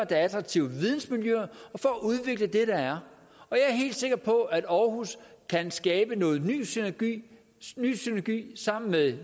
er attraktive vidensmiljøer og for at udvikle det der er og jeg er helt sikker på at aarhus kan skabe noget ny synergi sammen med